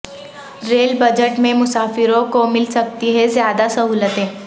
rail budget میں مسافروںکو مل سکتی ہیں زیادہ سہولتیں